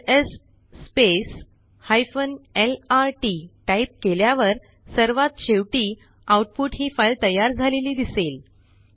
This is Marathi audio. एलएस lrt टाईप केल्यावर सर्वात शेवटी आउटपुट ही फाईल तयार झालेली दिसेल